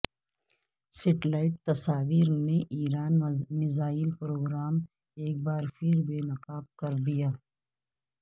satellite تصاویر نے ایرانی میزائل پروگرام ایک بارپھربے نقاب کردیا